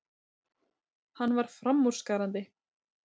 Hann var framúrskarandi.